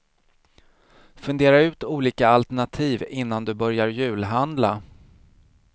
Fundera ut olika alternativ innan du börjar julhandla.